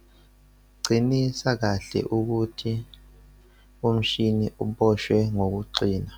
- qinisa kahle ukuthi umshini uboshwe ngokuqina.